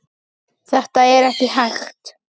Þetta er ekki hægt.